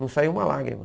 Não saía uma lágrima.